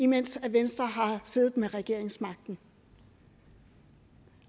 mens venstre har siddet med regeringsmagten